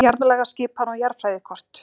Jarðlagaskipan og jarðfræðikort.